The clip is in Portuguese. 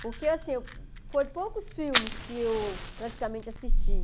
Porque, assim, foi poucos filmes que eu praticamente assisti.